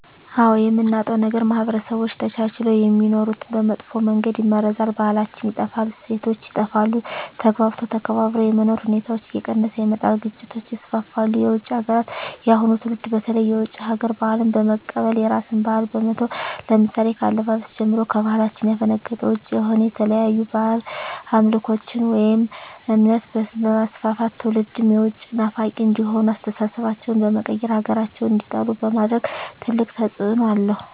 አዎ የምናጣው ነገር ማህበረሰቦች ተቻችለው የሚኖሩትን በመጥፎ መንገድ ይመርዛል , ባህላችን ይጠፋል, እሴቶች ይጠፋሉ, ተግባብቶ ተከባብሮ የመኖር ሁኔታዎች እየቀነሰ ይመጣል ግጭቶች ይስፋፋሉ። የውጭ ሀገራትን የአሁኑ ትውልድ በተለይ የውጭ ሀገር ባህልን በመቀበል የራስን ባህል በመተው ለምሳሌ ከአለባበስ ጀምሮ ከባህላችን ያፈነገጠ ውጭ የሆነ የተለያዩ ባህድ አምልኮቶችን ወይም እምነት በማስፋፋት ትውልድም የውጭ ናፋቂ እንዲሆኑ አስተሳሰባቸው በመቀየር ሀገራቸውን እንዲጠሉ በማድረግ ትልቅ ተፅዕኖ አለው።